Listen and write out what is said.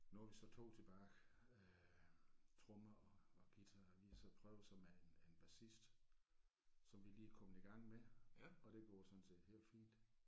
Nu er vi så 2 tilbage øh trommer og og guitar vi har så prøvet så med en en bassist som vi lige er kommet i gang med og det går sådan set helt fint